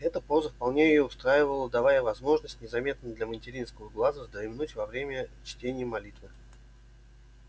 эта поза вполне её устраивала давая возможность незаметно для материнского глаза вздремнуть во время чтения молитвы